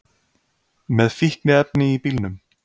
Með fíkniefni í bílnum